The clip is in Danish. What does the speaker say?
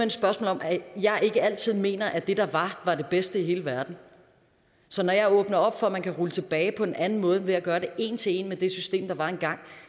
et spørgsmål om at jeg ikke altid mener at det der var var det bedste i hele verden så når jeg åbner op for at man kan rulle tilbage på en anden måde end ved at gøre det en til en med det system der var engang